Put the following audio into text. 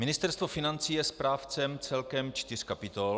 Ministerstvo financí je správcem celkem čtyř kapitol.